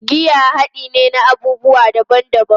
Giya hade ne na abubuwa daban-daban